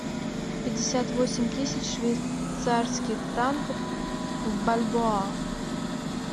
пятьдесят восемь тысяч швейцарских франков в бальбоа